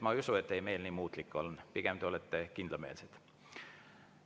Ma ei usu, et teie meel nii muutlik on, pigem olete te kindlameelsed.